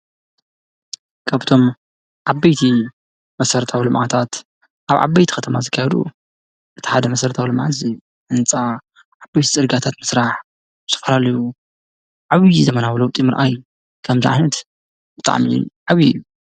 ከብቶም ዓበይቲ መሠረታው ሎማዓታት ኣብ ዓበይቲ ኸተማ ዝጋያሩ እቲሓደ መሠረታው ለመዓሲ እንፃ ዓበይቲ ጽርጋታት ምሥራሕ ስፍራልዩ ዓብዪ ዘመናብለዉ ጢምርኣይ ከምዝዓነት እጥዓሚል ዓብዩ እዩ።